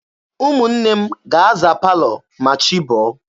Ụmụnne m ga-aza palọ ma chi bọọ